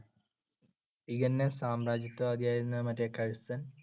INA സാമ്രാജ്യത്വ അധികാരിയായിരുന്ന മറ്റേ കഴ്സൺ